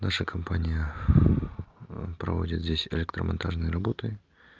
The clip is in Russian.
наша компания проводит здесь электромонтажные работы